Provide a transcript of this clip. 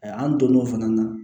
An donn'o fana na